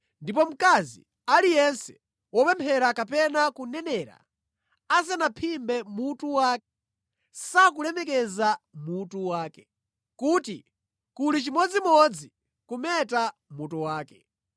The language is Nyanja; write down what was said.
Ndipo mkazi aliyense wopemphera kapena kunenera asanaphimbe mutu wake sakulemekeza mutu wakewo. Kuli chimodzimodzi kumeta mutu wake.